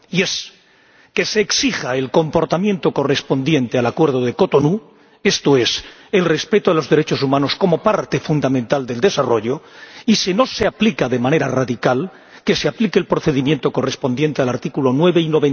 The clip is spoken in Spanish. Y es que se exija el comportamiento correspondiente al Acuerdo de Cotonú, esto es, el respeto de los derechos humanos como parte fundamental del desarrollo, y, si no se aplica de manera radical, que se aplique el procedimiento correspondiente a los artículos 9 y